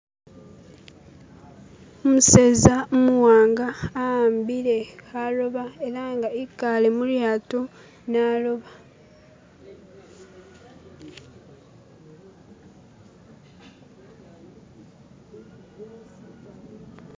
umuseza umuwanga awambile haloba elanga ikale mulyato liloba